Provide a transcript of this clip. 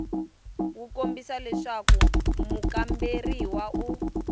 wu kombisa leswaku mukamberiwa u